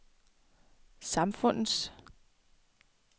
samfundets